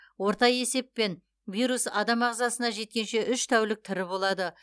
орта есеппен вирус адам ағзасына жеткенше үш тәулік тірі болады